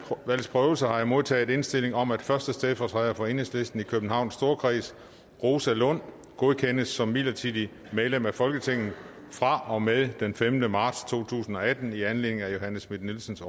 valgs prøvelse har jeg modtaget indstilling om at første stedfortræder for enhedslisten i københavns storkreds rosa lund godkendes som midlertidigt medlem af folketinget fra og med den femte marts to tusind og atten i anledning af johanne schmidt nielsens